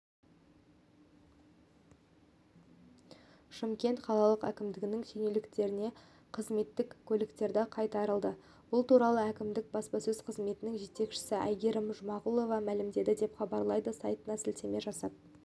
шымкент қалалық әкімдігінің шенеуніктеріне қызметтік көліктері қайтарылды бұл туралы әкімдіктің баспасөз қызметінің жетекшісі айгерім жұмағұлова мәлімдеді деп хабарлайды сайтына сілтеме жасап